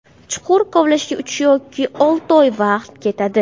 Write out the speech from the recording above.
Chuqur kovlashga uch yoki olti oy vaqt ketadi.